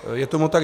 Je tomu tak.